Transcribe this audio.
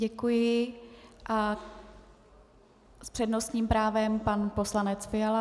Děkuji a s přednostním právem pan poslanec Fiala.